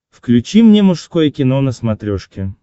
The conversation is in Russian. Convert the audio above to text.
включи мне мужское кино на смотрешке